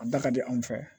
A da ka di anw fɛ